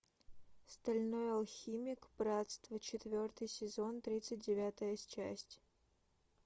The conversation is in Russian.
стальной алхимик братство четвертый сезон тридцать девятая часть